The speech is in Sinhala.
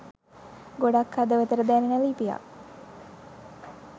ගොඩාක් හදවතට දැනෙන ලිපියක්